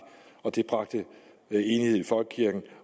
og det bragte enighed i folkekirken